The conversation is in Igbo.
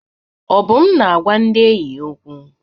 Obum na-agwa ndị enyi ya okwu.